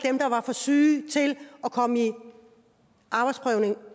dem der var for syge til at komme i arbejdsprøvning og